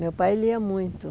Meu pai lia muito.